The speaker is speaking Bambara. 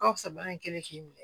Ka fisa bana in kɛnɛ k'i minɛ